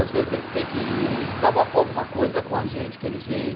Às vezes eles têm que desabafar alguma coisa, é com a gente que eles vêm.